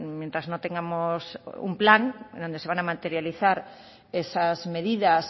mientras no tengamos un plan donde se van a materializar esas medidas